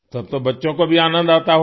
तो अब तो बच्चों को भी आनंद आता होगा